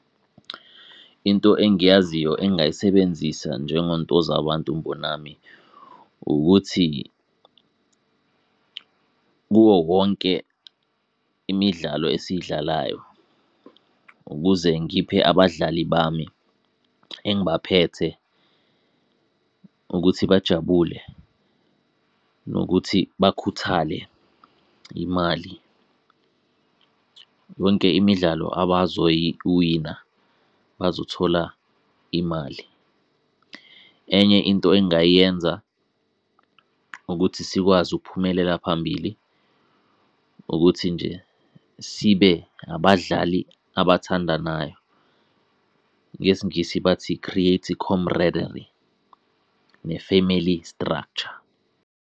Into engiyaziyo engingayisebenzisa njengoNtozabantu Mbonambi ukuthi, kuwowonke imidlalo esiyidlalayo ukuze ngiphe abadlali bami engibaphethe ukuthi bajabule, nokuthi bakhuthale, imali. Yonke imidlalo abazoyi wina bazothola imali. Enye into engayenza ukuthi sikwazi ukuphumelela phambili, ukuthi nje sibe abadlali abathandanayo, ngesiNgisi bathi, create camaraderie ne-family structure.